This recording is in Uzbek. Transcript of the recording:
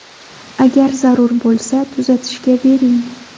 Agar zarur bo‘lsa tuzatishga bering.